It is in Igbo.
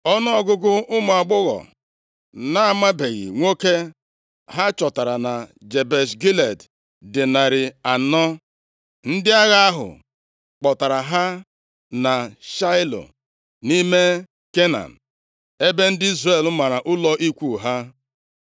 Ọnụọgụgụ ụmụ agbọghọ na-amabeghị nwoke ha chọtara na Jebesh Gilead dị narị anọ. Ndị agha ahụ kpọtara ha na Shaịlo, nʼime Kenan, ebe ndị Izrel mara ụlọ ikwu ha.